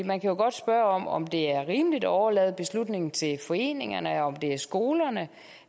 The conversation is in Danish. man kan jo godt spørge om om det er rimeligt at overlade beslutningen til foreningerne om det er skolerne